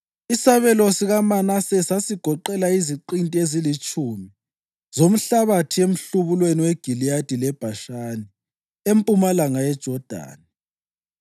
Isabelo sikaManase sasigoqela iziqinti ezilitshumi zomhlabathi emhlubulweni weGiliyadi leBhashani empumalanga yeJodani,